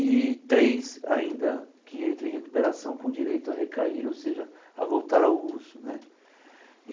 e três ainda que entram em recuperação com direito a recair, ou seja, a voltar ao uso né.